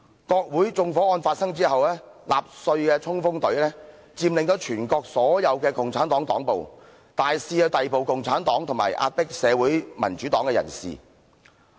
國會發生縱火案後，納粹黨衝鋒隊佔領了全國的所有共產黨黨部，大肆逮捕共產黨和壓迫社會民主黨人士。